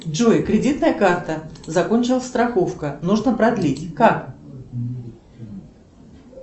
джой кредитная карта закончилась страховка нужно продлить как